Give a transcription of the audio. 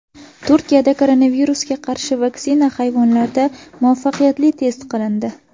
Turkiyada koronavirusga qarshi vaksina hayvonlarda muvaffaqiyatli test qilindi.